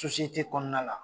kɔnɔna la.